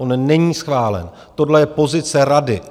On není schválen, tohle je pozice Rady.